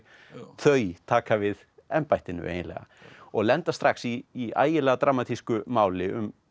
þau taka við embættinu eiginlega og lenda strax í í ægilega dramatísku máli um